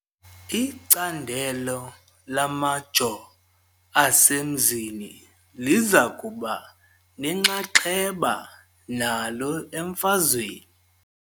Icandelo lamajoo asemanzini liza kuba nenxaxheba nalo emfazweni .